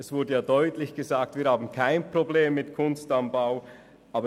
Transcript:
Es wurde deutlich gesagt, es liege kein Problem mit «Kunst am Bau» vor;